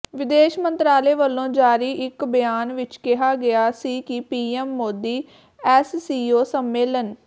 ਵਿਦੇਸ਼ ਮੰਤਰਾਲੇ ਵੱਲੋਂ ਜਾਰੀ ਇਕ ਬਿਆਨ ਵਿਚ ਕਿਹਾ ਗਿਆ ਸੀ ਕਿ ਪੀਐਮ ਮੋਦੀ ਐਸਸੀਓ ਸੰਮੇਲਨ